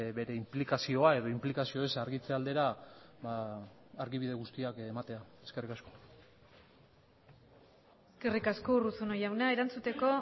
bere inplikazioa edo inplikazio eza argitze aldera argibide guztiak ematea eskerrik asko eskerrik asko urruzuno jauna erantzuteko